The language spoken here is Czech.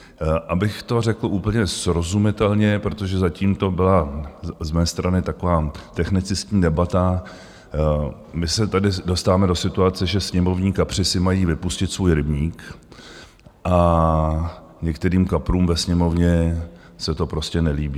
Abych to řekl úplně srozumitelně, protože zatím to byla z mé strany taková technicistní debata, my se tady dostáváme do situace, že sněmovní kapři si mají vypustit svůj rybník a některým kaprům ve Sněmovně se to prostě nelíbí.